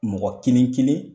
Mɔgɔ kelen kelen